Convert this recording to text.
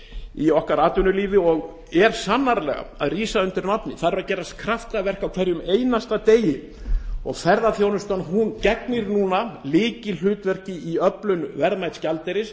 í atvinnulífi okkar og rís sannarlega undir nafni þar gerast kraftaverk á hverjum einasta degi og ferðaþjónustan gegnir núna lykilhlutverki í öflun verðmæts gjaldeyris